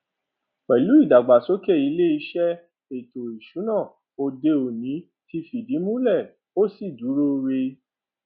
pẹlú ìdàgbàsókè ilé iṣẹ ètò ìsúná òde òní tí fi ìdí múlè ó sì dúró ree